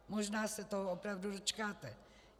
Možná se toho opravdu dočkáte.